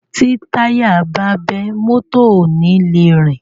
Tí táyà bá bẹ́, mọ́tọ̀ ò ni le rìn.